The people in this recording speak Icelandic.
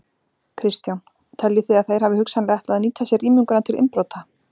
Kristján: Teljið þið að þeir hafi hugsanlega ætlað að nýta sér rýminguna til innbrota?